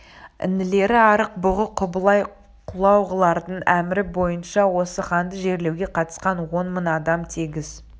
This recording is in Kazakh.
інілері арық бұғы құбылай құлағулардың әмірі бойынша осы ханды жерлеуге қатысқан он мың адам тегіс